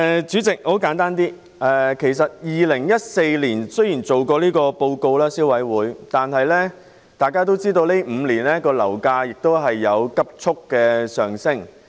雖然消委會在2014年曾發表報告，但大家都知道，這5年樓價急速上升。